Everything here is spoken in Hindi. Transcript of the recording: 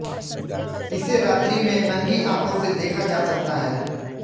इसे रात्रि में नंगी आंखों से देखा जा सकता है